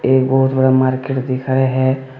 ये बहुत बड़ा मार्केट दिखाए है।